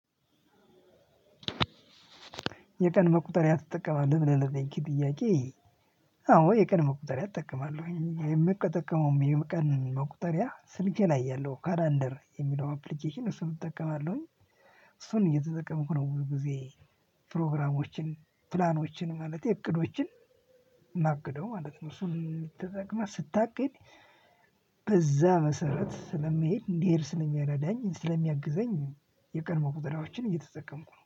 የቀን መቁጠሪያ ትጠቀማለህ ብለህ ለጠየከኝ ጥያቄ? አዎ የቀን መቁጠሪያ እጠቀማለሁ የምጠቀመውም የቀን መቁጠሪያ ስልኬ ላይ ያለው ካላንደር የሚለውን አፕሊኬሽን እሱን እጠቀማለሁኝ እሱን እየተጠቀምኩ ነው። ብዙ ጊዜ። ፕሮግራሞችን ፕላኖችን ማለቴ እቅዶችን ማግደው ማለት ነው። እሱን ተጠቅመህ ስታቅድ በዛ መሰረት ስለመሄድ እንዲሄድ ስለሚረዳን ስለሚያግዘኝ። የቀድሞ ቆጠራዎችን እየተጠቀምኩ ነው